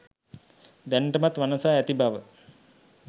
දැනටමත් වනසා ඇති බව